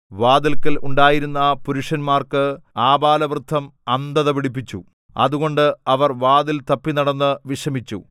വാതിൽക്കൽ ഉണ്ടായിരുന്ന പുരുഷന്മാർക്ക് ആബാലവൃദ്ധം അന്ധത പിടിപ്പിച്ചു അതുകൊണ്ട് അവർ വാതിൽ തപ്പിനടന്നു വിഷമിച്ചു